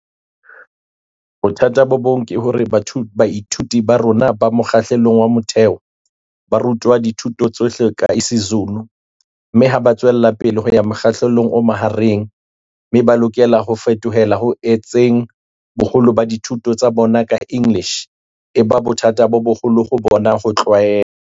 Bothata bo bong ke hore baithuti ba rona ba mokga hlelong wa motheo ba ru twa dithuto tsohle ka isiZulu mme ha ba tswelapele ho ya mokgahlelong o mahareng mme ba lokela ho fetohela ho etseng boholo ba dithuto tsa bona ka English, e ba bothata bo boholo ho bona ho tlwaela.